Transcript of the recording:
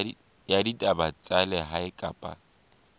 ya ditaba tsa lehae kapa